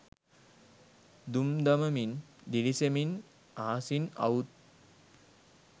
දුම් දමමින් දිළිසෙමින් අහසින් අවුත්